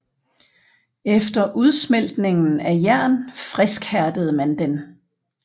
Efter udsmeltningen af jern friskhærdede man den